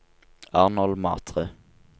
Arnold Matre